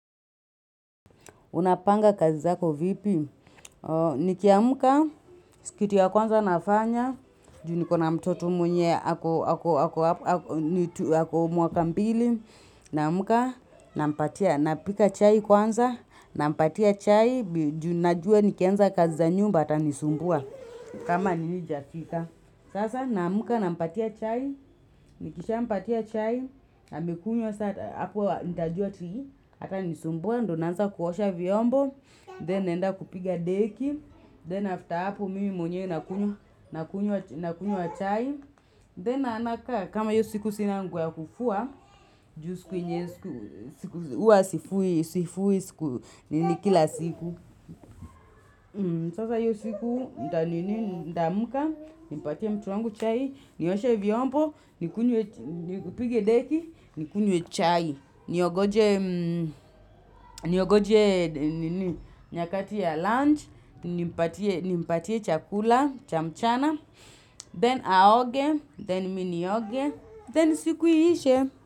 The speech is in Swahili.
Unapanga kazi zako vipi? Nikiamka, kitu ya kwanza nafanya. Nikona mtoto mwenye ako mwaka mbili. Naamka, nampatia, napika chai kwanza. Nampatia chai, juu najuwa nikianza kazi za nyumba atanisumbua. Kama nini haijafika. Sasa, naamka, nampatia chai. Nikishampatia chai. Amekunywa sasa, hapo nitajuwa ati. Hatanisumbua, ndiyo naanza kuosha vyombo. Then naenda kupiga deki, then after hapo mimi mwenyewe nakunywa chai. Then nakaa, kama hiyo siku sina nguo ya kufua, juu siku yenye huwa sifui siku kila siku. Sasa hiyo siku nita ninii, nitaamka, nipatie mtoto wangu chai, nioshe vyombo, nikunywe, nipige deki, nikunywe chai, niongoje Niongoje ninii, nyakati ya lunch, nimpatie chakula, cha mchana, then aoge, then mimi nioge, then siku iishe.